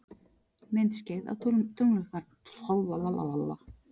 Myndskeið af tunglmyrkvanum